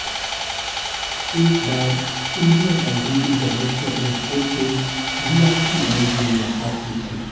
एक बार Indira Gandhi international airport के वीआईपी लाउंज में मुलाकात हुई थी